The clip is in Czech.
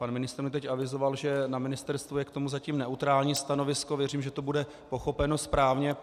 Pan ministr mi teď avizoval, že na ministerstvu je k tomu zatím neutrální stanovisko, věřím, že to bude pochopeno správně.